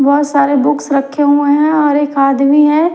बहुत सारे बुक्स रखे हुए हैं और एक आदमी है।